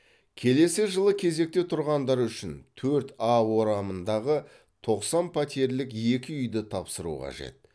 келесі жылы кезекте тұрғандар үшін төрт а орамындағы тоқсан пәтерлік екі үйді тапсыру қажет